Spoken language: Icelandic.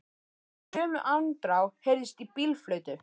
Og í sömu andrá heyrðist í bílflautu.